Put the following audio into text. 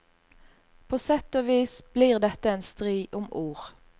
På sett og vis blir dette en strid om ord.